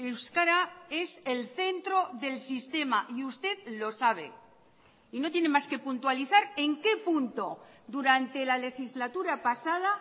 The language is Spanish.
euskara es el centro del sistema y usted lo sabe y no tiene más que puntualizar en qué punto durante la legislatura pasada